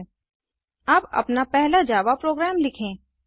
ठिक है अब अपना पहला जावा प्रोग्राम लिखें